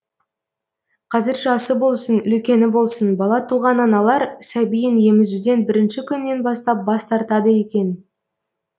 қазір жасы болсын үлкені болсын бала туған аналар сәбиін емізуден бірінші күннен бастап бас тартады екен